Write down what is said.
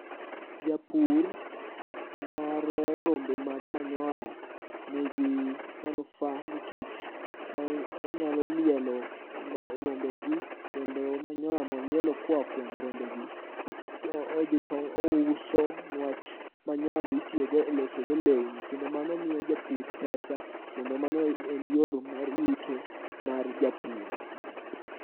Japur mar rombe mag manyoa nigi manufa nikech onyalo lielo rombe gi, kendo manyoya molielo koa kuom rombe gi odhi touso. Niwach manyoa gi itiyogo e losogo lewni, kendo mano miyo japur pesa kendo mano en yor mar yuto mar japur.